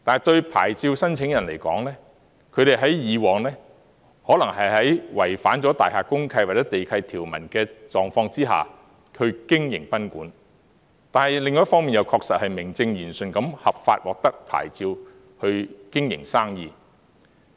對牌照申請人來說，他們以往可能在違反大廈公契或地契條文的狀況下經營賓館，但另一方面，確實是明正言順，合法獲得牌照去經營生意。